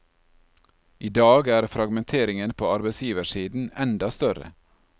I dag er fragmenteringen på arbeidsgiversiden enda større.